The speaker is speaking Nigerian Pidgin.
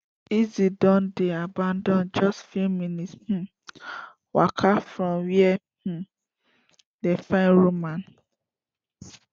elsa don dey abandoned just few minutes um waka from wia um dem find roman